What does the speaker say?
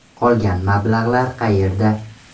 Qolgan mablag‘lar qayerda?